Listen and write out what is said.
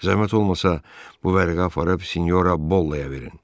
Zəhmət olmasa bu vərəqə aparıb Siniora Bollaya verin.